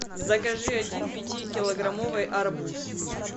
закажи один пятикилограммовый арбуз